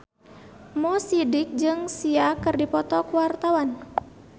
Mo Sidik jeung Sia keur dipoto ku wartawan